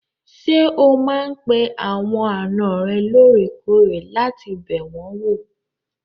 Ṣé o máa n pe àwọn àna rẹ lóòrèkóòrè láti bẹ̀ wọ́n wò?